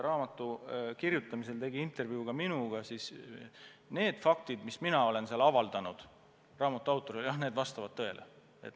Raamatu autor tegi intervjuu ka minuga ja need faktid, mis mina talle avaldasin, vastavad tõele.